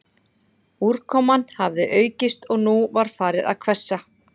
Úrkoman hafði aukist og nú var farið að hvessa